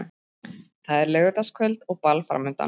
Það er laugardagskvöld og ball framundan.